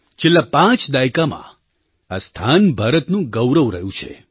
છેલ્લા પાંચ દાયકામાં આ સ્થાન ભારતનું ગૌરવ રહ્યું છે